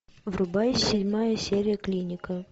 врубай седьмая серия клиника